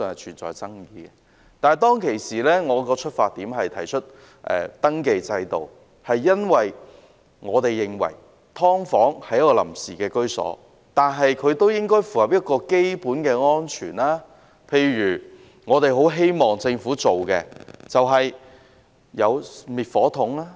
但是，當時我提出登記制度，出發點是因為我們認為雖然"劏房"是臨時居所，但也應該符合基本的安全標準，例如最低限度設置滅火筒。